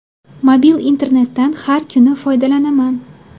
Mobil internetdan har kuni foydalanaman.